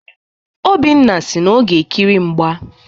Obinna si na ọ ga-ekiri mgba.